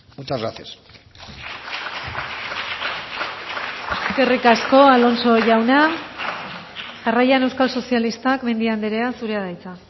muchas gracias eskerrik asko alonso jauna jarraian euskal sozialistak mendia andrea zurea da hitza